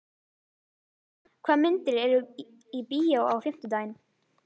Friðleif, hvaða myndir eru í bíó á fimmtudaginn?